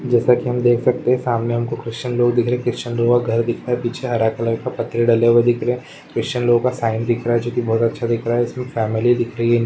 जैसे की हम देख सकते है की सामने हम को क्रीशयन लोग दिख रहें हैं क्रीशयन लोग का घर दिख रहा है पीछे हरा कलर पतरे डाले हुए दिख रहा है क्रीशयन साईंन दिख रहा है जो बहुत अच्छा दिख रहा है उसमें फेमेली दिख रही है।